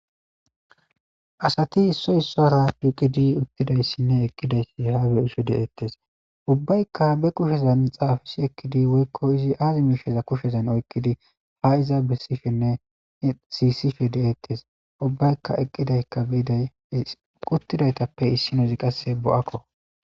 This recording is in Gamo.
Asati issi issuwara shiiqidi uttidayssinne eqqidayssi beettes. Ubbaykka be kushezan xaafis ekkidi woykko izi aazi miishsheza kushezan oyqqidi haa iza bessishenne siisishe de'ettes. Ubbaykka eqqidaykka biday uttidaytappe qasse issinozi bo'akko.